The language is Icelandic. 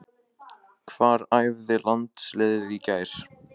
Hvar æfði landsliðið í gær?